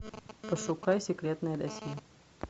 пошукай секретное досье